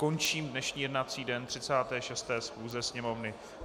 Končím dnešní jednací den 36. schůze Sněmovny.